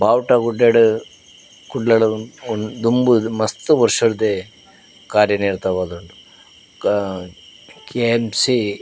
ಬಾವುಟ ಗುಡ್ಡಡ್ ಕುಡ್ಲ ದುಂಬು ಮಸ್ತ್ ವರ್ಷಡ್ದೆ ಕಾರ್ಯನಿರತವಾದುಂಡು ಅ ಕೆ.ಎಮ್.ಸಿ